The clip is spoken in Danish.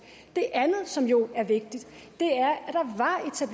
det andet som jo er vigtigt